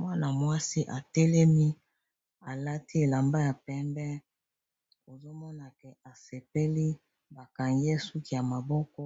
Mwana-mwasi atelemi, alati elamba ya pembe, ezo monana asepeli. Bakangie suki ya maboko.